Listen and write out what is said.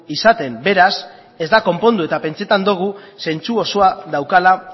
izaten beraz ez da konpondu eta pentsatzen dugu zentzu osoa daukala